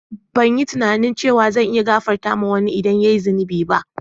Ban yi tunani cewa zan iya gafartawa ma wanni idan ya yi zina ba.